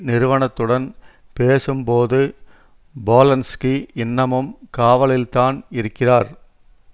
நிறுவனத்துடன் பேசும் போது போலன்ஸ்கி இன்னமும் காவலில் தான் இருக்கிறார்